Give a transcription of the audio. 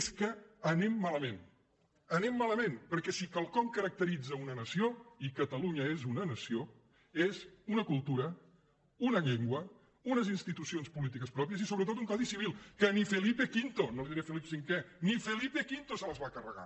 és que anem malament anem malament perquè si quelcom caracteritza una nació i catalunya és una nació és una cultura una llengua unes institucions polítiques pròpies i sobretot un codi civil que ni felipe v no li diré felip cinquè ni pe v se les va carregar